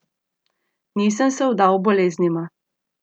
Nisem se vdal boleznima.